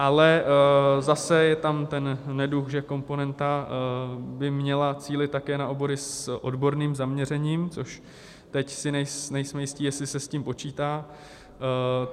Ale zase je tam ten neduh, že komponenta by měla cílit také na obory s odborným zaměřením, což teď se nejsem jistý, jestli se s tím počítá.